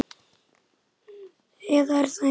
Eða er það einhver annar?